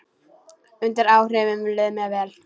Undir áhrifum leið mér vel.